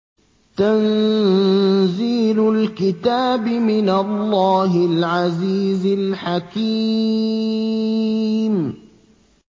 تَنزِيلُ الْكِتَابِ مِنَ اللَّهِ الْعَزِيزِ الْحَكِيمِ